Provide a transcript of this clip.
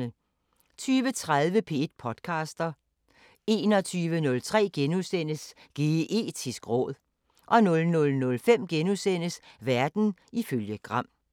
20:30: P1 podcaster 21:03: Geetisk råd * 00:05: Verden ifølge Gram *